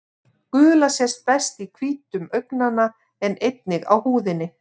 Gula sést best í hvítum augnanna en einnig á húðinni.